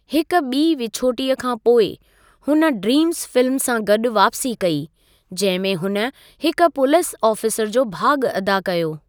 हिकु ॿी विछोटीअ खां पोइ, हुन ड्रीम्स फ़िल्म सां गॾु वापसी कई, जंहिं में हुन हिक पुलिस आफ़ीसरु जो भाॻ अदा कयो।